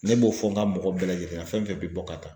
Ne b'o fɔ n ka mɔgɔ bɛɛ lajɛlen na fɛn fɛn bɛ bɔ ka taa.